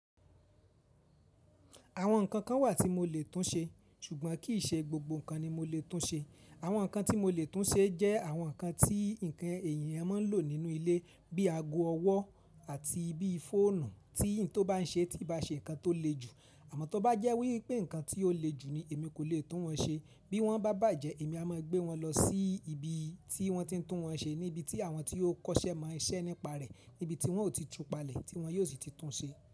Àwọn nǹkan kan wà tí mo lè tún ṣe, ṣùgbọ́n kì í ṣe gbogbo nǹkan ni mo lè tún ṣe. Àwọn nǹkan tí mo lè tún ṣe jẹ́ àwọn nǹkan tí ǹkan èyàn máa ń lò nínú ilé bíi aago ọwọ́ àti bí i fóònù tí n tó bá ń ṣe tií bá ṣe nǹkan tó le jù. Àmọ́ tó bá jẹ́ wípé nǹkan tí ó le jù ni èmi kò lè tún wọn ṣe bí wọ́n bá bàjẹ́ èmi a máa gbé wọn lọ sí ibi tí wọ́n ti ń tún wọn ṣe níbi tí àwọn tí ó kọ́ṣẹ́ mo iṣẹ́ nípa rẹ̀ níbi tí wọn ò ti tú palẹ̀ tí wọn yóò sì ti tún ṣe.